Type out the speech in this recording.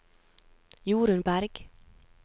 Jorunn Bergh